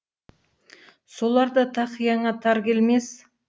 солар да тақияңа тар келмес